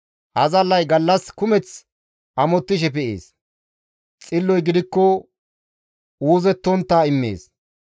Azallay gallas kumeth amottishe pe7ees; xilloy gidikko uuzettontta immees.